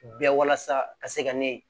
Bɛɛ walasa ka se ka ne